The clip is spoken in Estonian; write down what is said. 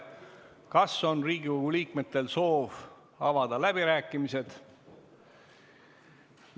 Kas Riigikogu liikmetel on soov avada läbirääkimised?